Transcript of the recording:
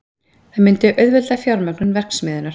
Það myndi auðvelda fjármögnun verksmiðjunnar